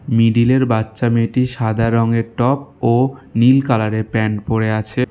মিডিলের বাচ্চা মেয়েটি সাদা রঙের টপ ও নীল কালারের প্যান্ট পরে আছে।